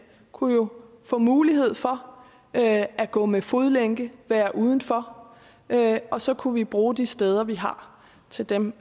kunne jo få mulighed for at at gå med fodlænke være udenfor og så kunne vi bruge de steder vi har til dem